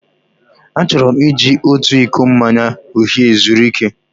Achọrọ m iji otu iko mmanya uhie zuru ike.